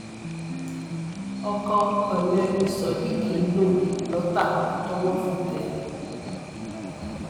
ọkọ ọlẹ ni sodiq ń lò lọtà tọwọ fi tẹ ẹ